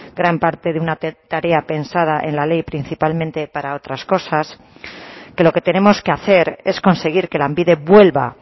gran parte de una tarea pensada en la ley principalmente para otras cosas que lo que tenemos que hacer es conseguir que lanbide vuelva